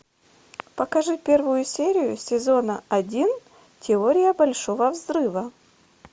покажи первую серию сезона один теория большого взрыва